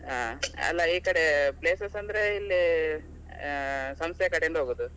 ಹಾ, ಅಲ್ಲ ಈ ಕಡೆ places ಅಂದ್ರೆ ಇಲ್ಲಿ ಸಂಸೆ ಕಡೆಯಿಂದ ಹೋಗುದು.